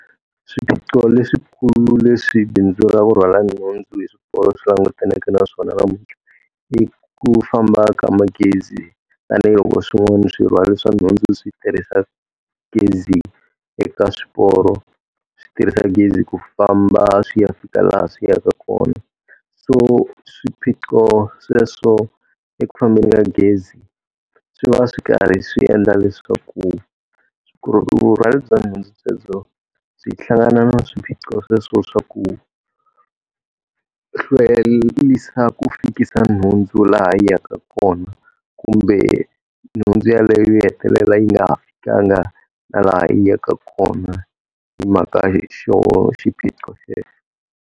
Swiphiqo leswikulu leswi bindzu ra ku rhwala nhundzu hi xiporo swi langutaneke na swona namuntlha, i ku famba ka magezi tanihiloko swin'wana swirhwari swa nhundzu swi tirhisa gezi eka swiporo swi tirhisa gezi ku famba swi ya fika laha swi yaka kona. So swiphiqo sweswo eku fambeni ka gezi, swi va swi karhi swi endla leswaku vurhwali bya nhundzu byebyo byi hlangana na swiphiqo sweswo swa ku hlwerisa ku fikisa nhundzu laha yi yaka kona. Kumbe nhundzu yaleyo yi hetelela yi nga pfukanga na laha yi yaka kona hi mhaka xona xiphiqo xexo.